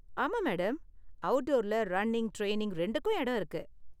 ஆமா மேடம், அவுட்டோர்ல running, training ரெண்டுக்கும் இடம் இருக்கு.